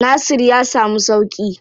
Nasir ya samu sauƙi?